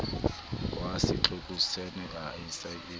wa setlokotsejana a se a